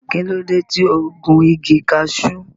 Kí ló dé tí o gun igi cashew?